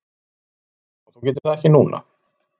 Þú getur það ekki núna?